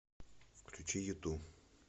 включи юту